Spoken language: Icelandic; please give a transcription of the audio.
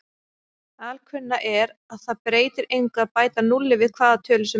Alkunna er að það breytir engu að bæta núlli við hvaða tölu sem er.